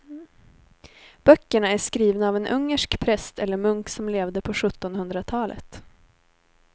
Böckerna är skrivna av en ungersk präst eller munk som levde på sjuttonhundratalet.